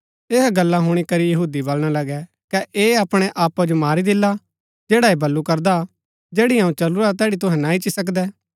यहा गल्ला हुणी करी यहूदी वलणा लगै कै ऐह अपणै आपा जो मारी देला जैडा ऐह वलु करदा जैड़ी अऊँ चलुरा तैड़ी तूहै ना इच्ची सकदै